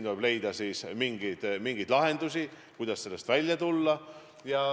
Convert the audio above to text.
Tuleb leida mingeid lahendusi, kuidas sellest välja tulla.